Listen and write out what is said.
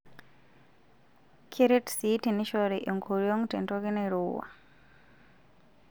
Keret sii teneshori enkoriong' tentoki nairowua.